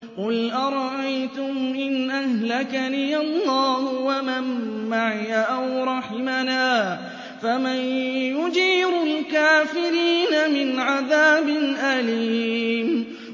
قُلْ أَرَأَيْتُمْ إِنْ أَهْلَكَنِيَ اللَّهُ وَمَن مَّعِيَ أَوْ رَحِمَنَا فَمَن يُجِيرُ الْكَافِرِينَ مِنْ عَذَابٍ أَلِيمٍ